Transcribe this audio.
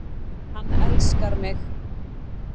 Hann elskar mig